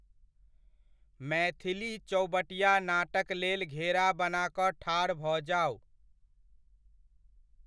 मैथिली चौबटिया नाटकलेल घेरा बना कऽ ठाढ़ भऽ जाउ।